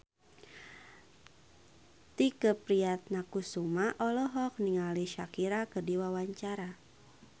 Tike Priatnakusuma olohok ningali Shakira keur diwawancara